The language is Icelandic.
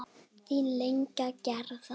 Þín Inga Gerða.